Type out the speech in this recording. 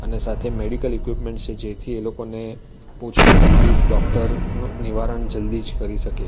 ને સાથે medical equipments છે જેથી એ લોકોને પહોંચતી તકલીફ ડોક્ટર નો નિવારણ જલ્દી જ કરી શકે.